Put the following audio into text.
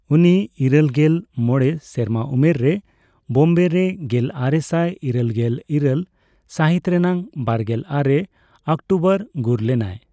ᱩᱱᱤ ᱤᱨᱟᱹᱞᱜᱮᱞ ᱢᱚᱲᱮ ᱥᱮᱨᱢᱟ ᱩᱢᱮᱨ ᱨᱮ ᱵᱳᱢᱵᱮ ᱨᱮ ᱜᱮᱞᱟᱨᱮᱥᱟᱭ ᱤᱨᱟᱹᱞ ᱜᱮᱞ ᱤᱨᱟᱹᱞ ᱥᱟᱹᱦᱤᱛ ᱨᱮᱱᱟᱜ ᱵᱟᱨᱜᱮᱞ ᱟᱨᱮ ᱚᱠᱴᱳᱵᱚᱨ ᱜᱩᱨ ᱞᱮᱱᱟᱭ ᱾